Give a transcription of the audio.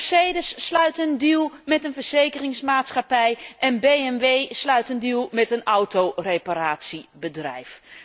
Mercedes sluit een deal met een verzekeringsmaatschappij en BMW sluit een deal met een autoreparatiebedrijf.